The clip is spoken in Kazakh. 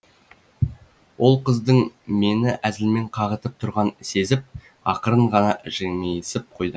ол қыздың мені әзілмен қағытып тұрғанын сезіп ақырын ғана жымиысып қойды